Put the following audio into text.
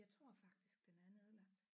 Jeg tror faktisk den er nedlagt